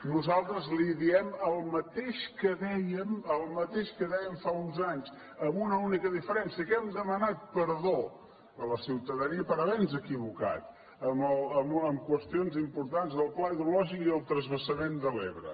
nosaltres li diem el mateix que dèiem el mateix que dèiem fa uns anys amb una única diferència que hem demanat perdó a la ciutadania per haver nos equivocat en qüestions importants del pla hidrològic i el transvasament de l’ebre